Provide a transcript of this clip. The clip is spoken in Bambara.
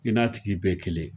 I n'a tigi bɛɛ ye kelen ye.